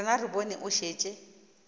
rena re bone o šetše